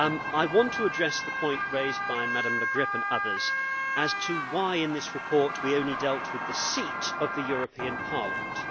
I want to address the point raised by Mrs Le Grip and others as to why in this report we only dealt with the seatʼ of the European Parliament.